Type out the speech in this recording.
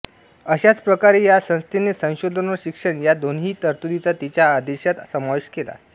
अशाच प्रकारे या संस्थेने संशोधन व शिक्षण या दोन्हीही तरतुदींचा तिच्या आदेशात समावेश केला